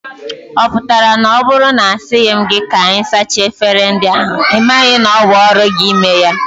Ị pụtara na ọ bụrụ na a sịghị m gị ka ị sachaa efere ndị ahụ, ị maghị na ọ bụ ọrụ gị ime ya?